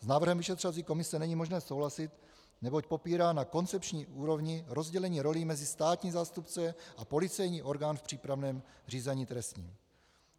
S návrhem vyšetřovací komise není možné souhlasit, neboť popírá na koncepční úrovni rozdělení rolí mezi státní zástupce a policejní orgán v přípravném řízení trestním.